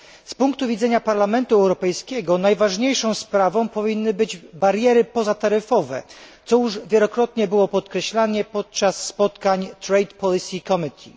Z punktu widzenia Parlamentu Europejskiego najważniejszą sprawą powinny być bariery pozataryfowe, co już wielokrotnie było podkreślane podczas spotkań Trade Policy Committee.